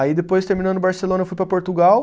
Aí depois terminando Barcelona eu fui para Portugal.